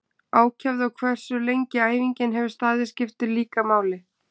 Ákefð og hversu lengi æfingin hefur staðið skiptir líka máli.